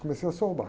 Comecei a soltar.